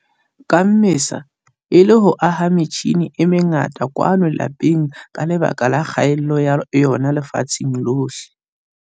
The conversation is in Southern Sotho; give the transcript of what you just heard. Ka Mmesa, e le ho aha metjhine e mengata kwano lapeng ka lebaka la kgaello ya yona lefatsheng lohle.